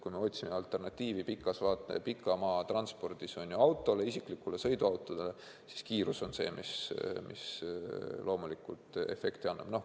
Kui me otsime alternatiivi pikamaatranspordis isiklikele sõiduautodele, siis kiirus on see, mis loomulikult efekti annab.